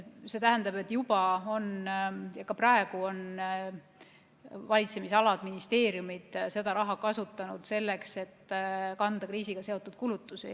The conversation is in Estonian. See tähendab, et juba on valitsemisalad, ministeeriumid seda raha kasutanud selleks, et kanda kriisiga seotud kulutusi.